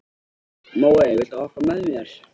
Móey, viltu hoppa með mér?